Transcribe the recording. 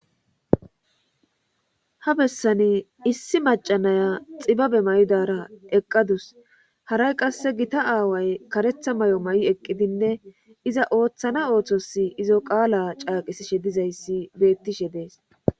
ha bessani issi macanaya xibabe may'idara eqqadus haray qasse gita aaway karetha may'o ma'i eqqidinne iza ooththana ooththosi izo qaala caaqisishe dizayssi beettishe dees.